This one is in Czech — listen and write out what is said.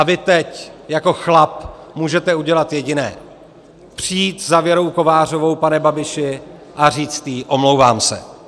A vy teď jako chlap můžete udělat jediné - přijít za Věrou Kovářovou, pane Babiši, a říct jí: Omlouvám se.